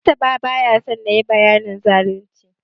Mustapha baya son nayi bayanin zalunci.